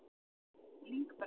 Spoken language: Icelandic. Lyngbrekku